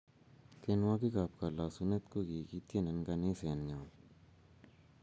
Tienwokik ab kalasunet kokikitien eng kaniset nyon